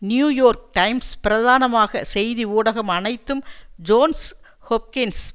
new York Times பிரதானமாக செய்தி ஊடகம் அனைத்தும் ஜோன்ஸ் ஹொப்கின்ஸ்